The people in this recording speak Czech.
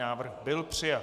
Návrh byl přijat.